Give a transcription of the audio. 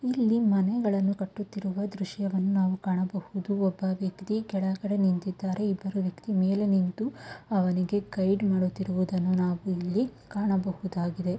ಇಲ್ಲಿ ಮನೆಗಳನ್ನು ಕಟ್ಟುತ್ತಿರುವ ದ್ರಶ್ಯವನ್ನು ನಾವು ಕಾಣಬಹುದು ಒಬ್ಬ ವ್ಯಕ್ತಿ ಕೆಳಗಡೆ ನಿಂತಿದ್ದಾರೆ ಇಬ್ಬರು ವ್ಯಕ್ತಿ ಮೇಲೆ ನಿಂತು ಅವರಿಗೆ ಗೈಡ್ ಮಾಡುತ್ತಿರುವುದನ್ನು ನಾವು ಕಾಣಬಹುದಾಗಿದೆ.